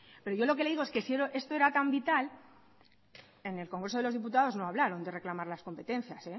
pero yo lo que le digo es que si esto era tan vital en el congreso de los diputados no hablaron de reclamar las competencias